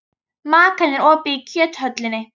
Makan, er opið í Kjöthöllinni?